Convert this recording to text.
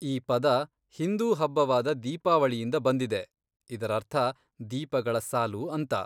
ಈ ಪದ ಹಿಂದೂ ಹಬ್ಬವಾದ ದೀಪಾವಳಿಯಿಂದ ಬಂದಿದೆ, ಇದರರ್ಥ ,ದೀಪಗಳ ಸಾಲು, ಅಂತ.